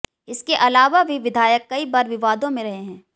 इसके अलावा भी विधायक कई बार विवादों में रहे हैं